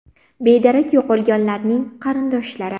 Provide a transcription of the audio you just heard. Bedarak yo‘qolganlarning qarindoshlari.